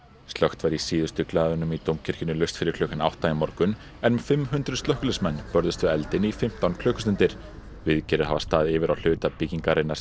slökkt var í síðustu glæðunum í Dómkirkjunni laust fyrir klukkan átta í morgun en um fimm hundruð slökkviliðsmenn börðust við eldinn í fimmtán klukkustundir viðgerðir hafa staðið yfir á hluta byggingarinnar